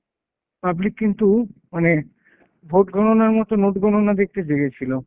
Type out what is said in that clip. public কিন্তু মানে ভোটগণনার মতো নোট গণনা দেখতে জেগেছিলো।